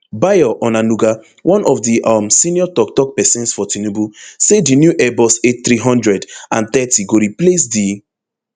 bayo onanuga one of di um senior toktok pesins for tinubu say di new airbus athree hundred and thirty go replace di